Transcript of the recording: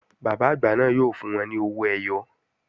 Bàbá àgbà náà fún wọn ní owó ẹyọ